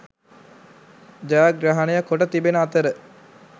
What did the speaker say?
ජයග්‍රහණය කොට තිබෙන අතර